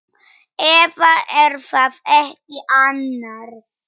Eða. er það ekki annars?